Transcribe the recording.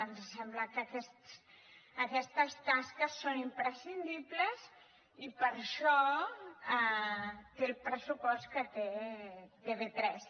ens sembla que aquestes tasques són imprescindibles i per això té el pressupost que té tv3